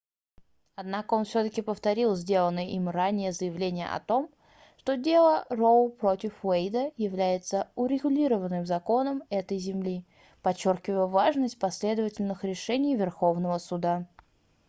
однако он всё-таки повторил сделанное им ранее заявление о том что дело роу против уэйда является урегулированным законом этой земли подчёркивая важность последовательных решений верховного суда